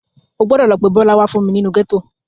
O gbọdọ̀ lọ pé Bọ́lá wá fún mi nínú gẹ́tò.